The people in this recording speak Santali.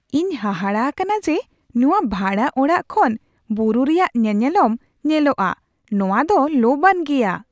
ᱤᱧ ᱦᱟᱦᱟᱲᱟᱜ ᱟᱠᱟᱱᱟ ᱡᱮ ᱱᱚᱶᱟ ᱵᱷᱟᱲᱟ ᱚᱲᱟᱜ ᱠᱷᱚᱱ ᱵᱩᱨᱩ ᱨᱮᱭᱟᱜ ᱧᱮᱱᱮᱞᱚᱢ ᱧᱮᱞᱚᱜᱼᱟ, ᱱᱚᱶᱟ ᱫᱚ ᱞᱚᱵᱼᱟᱱ ᱜᱮᱭᱟ ᱾